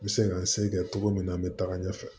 N bɛ se ka n se kɛ cogo min na n bɛ taga ɲɛfɛ